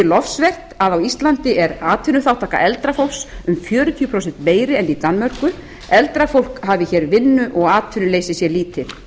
lofsvert að á íslandi er atvinnuþátttaka eldra fólks um fjörutíu prósent meiri en í danmörku eldra fólk hafi hér vinnu og atvinnuleysi sé lítið